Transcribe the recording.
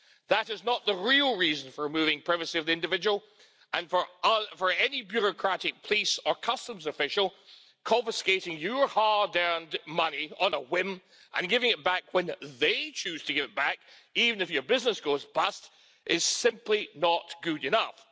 That is not the real reason for removing privacy of the individual and for any bureaucratic police or customs official confiscating your hard earned money on a whim, and giving it back when they choose to give it back, even if your business goes bust, is simply not good enough.